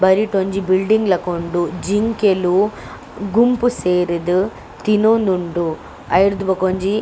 ಬರಿಟ್ ಒಂಜಿ ಬಿಲ್ಡಿಂಗ್ ಲಕ ಉಂಡು ಜಿಂಕೆಲ್ ಗುಂಪು ಸೇರುದು ತಿನೊಂದುಂಡು ಅವೆಡ್ದ್ ಬೊಕ ಒಂಜಿ.